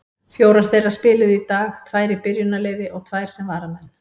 Fjórar þeirra spiluðu í dag, tvær í byrjunarliði og tvær sem varamenn.